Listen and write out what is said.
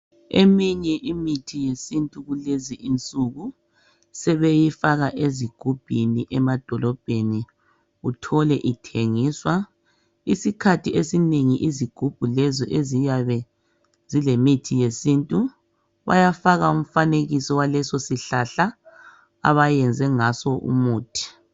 Eminye imithi yesintu kulezi insuku sebeyifaka ezigubhini emadolobheni uthole ithengiswa .Isikhathi esinengi izigubhu lezi eziyabe zilemithi yesintu bayafaka umfanekiso waleso sihlahla abayenze ngayo umuthi